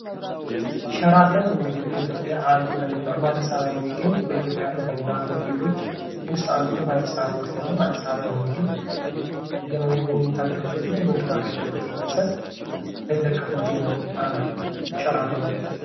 ሸራተን እንግዲህ በኢትዮጵያ አሉ ከሚባሉ በአዲስ አበባ የሚገኝ በኢትዮጵያ አሉ ከሚባሉ ሆቴሎች ውስጥ አንዱ ነው። ፋይፍ ስታር ሆቴል ነው። አዲስ አበባ የሚገኝ የምኝታ አገልግሎት ናየምግብ አገልግሎት የሚሰጥ ትልቅ ሆቴል ሸራተን ሆቴል ነው።